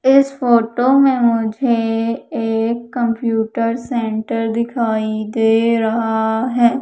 इस फोटो में मुझे एक कंप्यूटर सेंटर दिखाई दे रहा है।